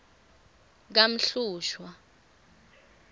kamhlushwa